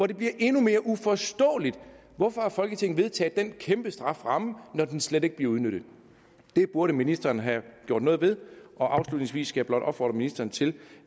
det bliver endnu mere uforståeligt hvorfor folketinget har vedtaget den kæmpe strafferamme når den slet ikke bliver udnyttet det burde ministeren have gjort noget ved afslutningsvis skal jeg blot opfordre ministeren til